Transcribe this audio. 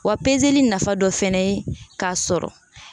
Wa nafa dɔ fɛnɛ ye k'a sɔrɔ